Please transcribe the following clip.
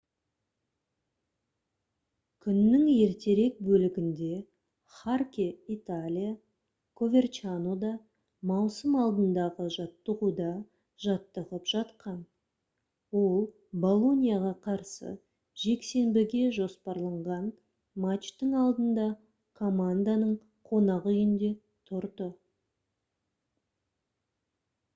күннің ертерек бөлігінде харке италия коверчанода маусым алдындағы жаттығуда жаттығып жатқан ол болоньяға қарсы жексенбіге жоспарланған матчтың алдында команданың қонақ үйінде тұрды